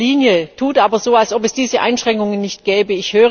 Das Geld auf der Linie tut aber so, als ob es diese Einschränkungen nicht gäbe.